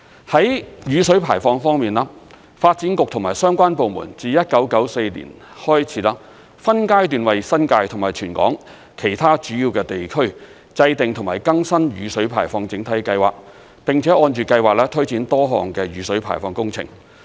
在雨水排放方面，發展局和相關部門自1994年起，分階段為新界及全港其他主要地區制訂及更新雨水排放整體計劃，並且按着計劃推展多項的雨水排放工程。